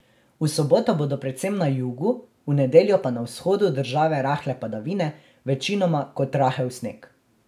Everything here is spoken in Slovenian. V soboto bodo predvsem na jugu, v nedeljo pa na vzhodu države rahle padavine, večinoma kot rahel sneg.